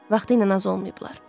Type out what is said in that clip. Vaxtilə az olmayıblar.